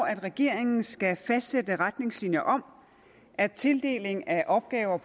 at regeringen skal fastlægge retningslinjer om at tildeling af opgaver